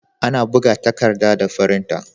Ana buga takarɗa da firinta.